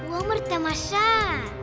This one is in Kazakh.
өмір тамаша